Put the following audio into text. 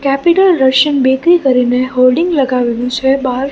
Capital Russian bakery કરીને hoarding લગાવેલું છે બાર.